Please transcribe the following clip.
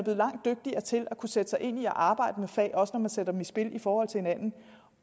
langt dygtigere til at kunne sætte sig ind i at arbejde med fag også når man sætter dem i spil i forhold til hinanden